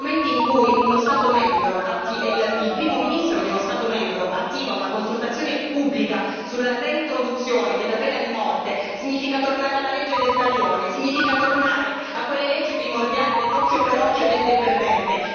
Nel momento in cui uno Stato membro, il primo ministro di uno Stato membro, attiva una consultazione pubblica sulla reintroduzione della pena di morte, si torna alla legge del taglione, si torna a quelle leggi primordiali dell'occhio per occhio, dente per dente.